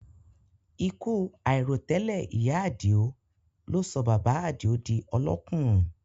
Ikú àìròtẹ́lẹ̀ ìyá àdìó ló sọ bàbá àdìó di ọlọ́kùnrùn